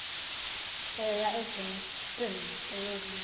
aya egermiston ayedlula